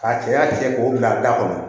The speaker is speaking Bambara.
K'a cɛya cɛ k'o bila a da kɔnɔ